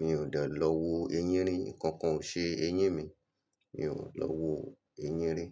Mi ò dà lọ wo eyín rí. Ǹkankan ò ṣe eyín mi. Mi ò lọ wo eyín rí.